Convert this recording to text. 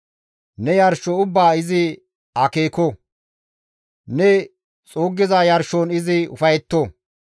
Ne yarsho ubbaa izi akeeko; ne xuuggiza yarshon izi ufayetto.